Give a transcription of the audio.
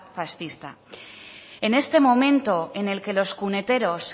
fascista en este momento en el que los cuneteros